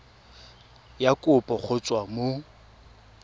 ya kopo go tswa mo